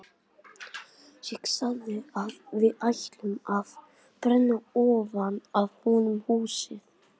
Ég sagði að við ættum að brenna ofan af honum húsið!